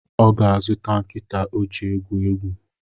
Ọ ga-zụta nkịta ọ ji egwu egwu